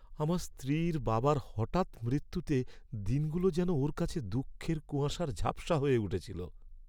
আমার স্ত্রীর বাবার হঠাৎ মৃত্যুতে দিনগুলো যেন ওর কাছে দুঃখের কুয়াশায় ঝাপসা হয়ে উঠেছিল।